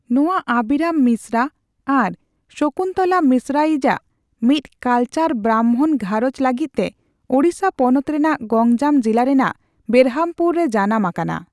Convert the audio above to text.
ᱱᱚᱣᱟ ᱟᱵᱤᱨᱚᱢ ᱢᱤᱥᱨᱟ ᱟᱨ ᱥᱚᱠᱩᱱᱛᱚᱞᱟ ᱢᱤᱥᱨᱟ ᱭᱤᱡ ᱟᱜ ᱢᱤᱫ ᱠᱟᱞᱪᱟᱨ ᱵᱨᱟᱦᱢᱚᱬ ᱜᱷᱟᱨᱚᱸᱡᱽ ᱞᱟᱹᱜᱤᱫ ᱛᱮ ᱳᱰᱤᱥᱟ ᱯᱚᱱᱚᱛ ᱨᱮᱱᱟᱜ ᱜᱚᱝᱡᱟᱢ ᱡᱤᱞᱟ ᱨᱮᱱᱟᱜ ᱵᱮᱨᱦᱟᱢᱯᱩᱨ ᱨᱮ ᱡᱟᱱᱟᱢ ᱟᱠᱟᱱᱟ ᱾